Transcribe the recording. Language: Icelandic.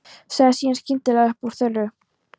Sagði síðan skyndilega upp úr þurru